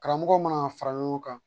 Karamɔgɔw mana fara ɲɔgɔn kan